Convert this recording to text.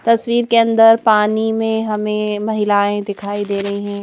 तस्वीर के अंदर पानी में हमें महिलाएँ दिखाई दे रही हैं।